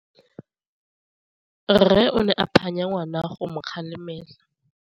Rre o ne a phanya ngwana go mo galemela.